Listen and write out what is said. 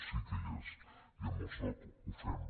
sí que hi és i amb el soc ho fem